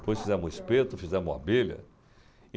Depois fizemos O Espeto, fizemos Abelha.